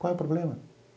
Qual é o problema?